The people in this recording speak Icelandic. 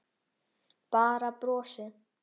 Bara brosti.